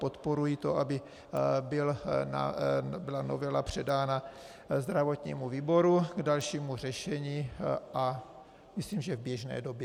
Podporuji to, aby novela byla předána zdravotnímu výboru k dalšímu řešení, a myslím, že v běžné době.